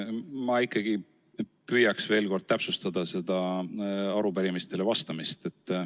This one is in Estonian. Ma ikkagi püüaks veel kord täpsustada seda arupärimistele vastamist.